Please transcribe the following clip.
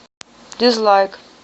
дизлайк